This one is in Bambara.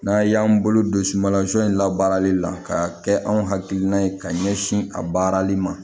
N'a y'an bolo don sumansɔn in labaarali la ka kɛ anw hakilina ye ka ɲɛsin a baarali ma